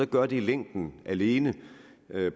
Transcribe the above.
gøre det i længden alene